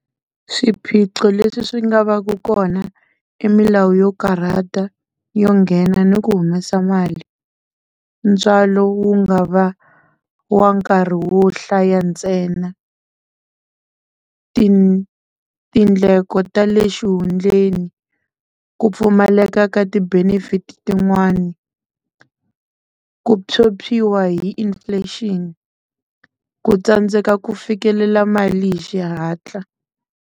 Swiphiqo leswi swi nga va ku kona i milawu yo karhata, yo nghena ni ku humesa mali. Ntswalo wu nga va wa nkarhi wo hlaya ntsena, tindleko ta le xihundleni, ku pfumaleka ka ti-benefit tin'wani, ku phyuphyiwa hi inflation, ku tsandzeka ku fikelela mali hi xihatla.